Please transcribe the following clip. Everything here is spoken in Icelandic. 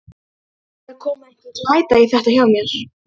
Það er að koma einhver glæta í þetta hjá mér.